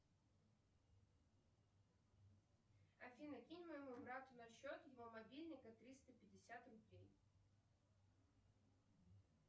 афина кинь моему брату на счет его мобильника триста пятьдесят рублей